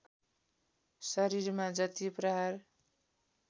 शरीरमा जति प्रहार